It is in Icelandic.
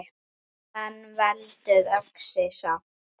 En veldur öxi samt!